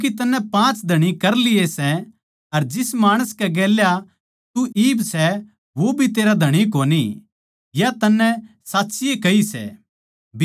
क्यूँके तन्नै पाँच धणी कर लिए सै अर जिस माणस कै गेल्या तू इब सै वो भी तेरा धणी कोनी या तन्नै साच्चीए कही सै